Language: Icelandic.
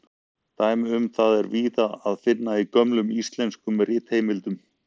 Dæmi um það er víða að finna í gömlum íslenskum ritheimildum.